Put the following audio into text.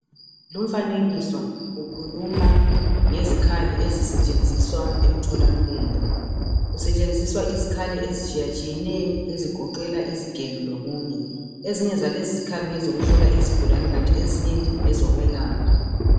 Lumfanekiso ukhuluma ngezikhali ezisetshenziswa emtholampilo. Kusetshenziswa izikhali ezitshiyatshiyeneyo, ezigoqela izigelo lokunye. Ezinye zalezi zikhali ngezokuhlola izigulane kanti ezinye ngezokwelapha.